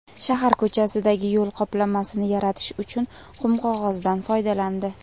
Shahar ko‘chasidagi yo‘l qoplamasini yaratish uchun qumqog‘ozdan foydalandi.